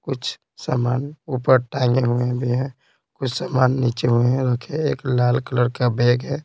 कुछ सामान ऊपर टांगे हुए भी हैं कुछ सामान नीचे हुए हैं रखे एक लाल कलर का बैग है।